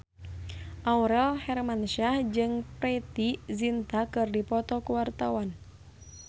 Aurel Hermansyah jeung Preity Zinta keur dipoto ku wartawan